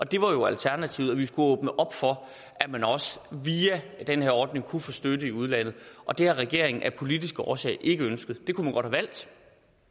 det var jo alternativet vi skulle åbne op for at man via den her ordning kunne få støtte i udlandet og det har regeringen af politiske årsager ikke ønsket det kunne man godt have valgt